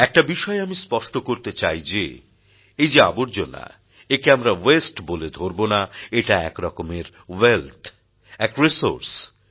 একটা বিষয় আমি স্পষ্ট করতে চাই যে এই যে আবর্জনা একে আমরা ওয়াস্তে বলে ধরবো না এটা একরকমের ওয়েলথ এক রিসোর্স